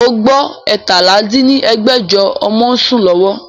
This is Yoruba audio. O gbọ́ eétalá dín ní ẹgbẹ́jọ ọmọ ń sún lọ́wọ́?